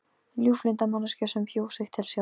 Ljúflynda manneskju sem bjó sig til sjálf.